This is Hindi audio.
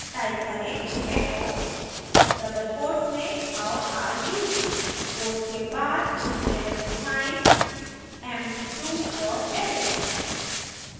type करें echo double quotes में how are you quotes के बाद greater sign sign> empty2 dot sh